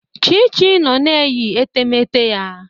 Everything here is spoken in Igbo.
Chichi nnọ na-eyi etemeete ya.